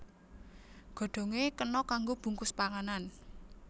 Godhongé kena kanggo bungkus panganan